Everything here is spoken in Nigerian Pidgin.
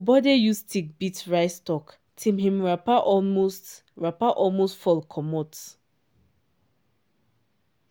uncle bode use stick beat rice stalk till him wrapper almost wrapper almost fall comot.